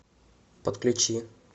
подключи